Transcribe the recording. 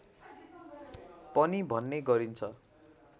पनि भन्ने गरिन्छ